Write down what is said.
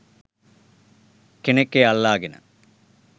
කෙනෙක් එය අල්ලාගෙන